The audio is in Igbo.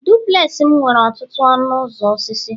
duplex m nwere ọtụtụ ọnụ ụzọ osisi